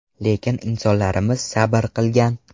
Lekin insonlarimiz sabr qilgan.